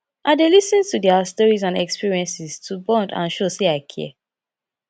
i dey lis ten to dia stories and experiences to bond and show sey i care